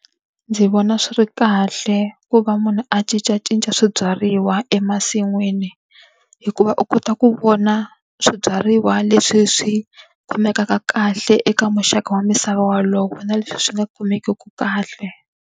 Ndzi vona swi ri kahle ku va munhu a cincacinca swibyariwa emasin'wini. hikuva u kota ku vona swibyariwa leswi swi khomekaka kahle eka muxaka wa misava wolowo na leswi swi nga kumekiki kahle.